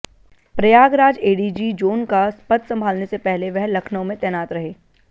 Prayagraj ADG zone का पद संभालने से पहले वह लखनऊ में तैनात रहे